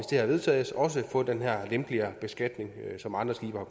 det her vedtages også få den her lempeligere beskatning som andre skibe har